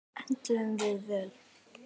Enduðum við vel?